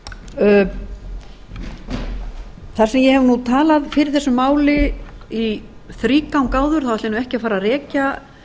þar sem ég hef talað fyrir þessu máli í þrígang áður ætla ég ekki að fara að rekja